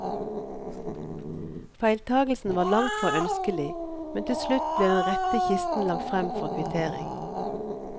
Feiltakelsen var langtfra ønskelig, men til slutt ble den rette kisten lagt frem for kvittering.